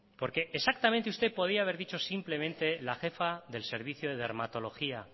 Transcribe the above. porque exactamente usted podía haber dicho simplemente la jefa del servicio de dermatología